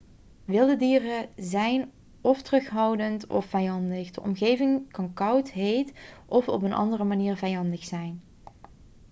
wilde dieren zijn of terughoudend of vijandig de omgeving kan koud heet of op een andere manier vijandig zijn